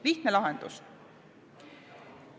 Lihtne lahendus.